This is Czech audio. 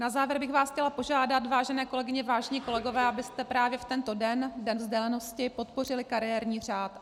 Na závěr bych vás chtěla požádat, vážené kolegyně, vážení kolegové, abyste právě v tento den, Den vzdělanosti, podpořili kariérní řád.